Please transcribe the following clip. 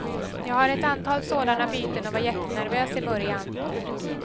Jag har ett antal sådana byten och var jättenervös i början.